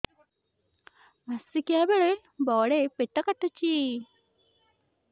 ମାସିକିଆ ବେଳେ ବଡେ ପେଟ କାଟୁଚି